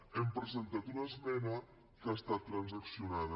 hem presentat una esmena que ha estat transaccionada